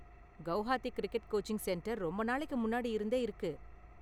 Guwahati cricket coaching centre ரொம்ப நாளைக்கு முன்னாடி இருந்தே இருக்கு.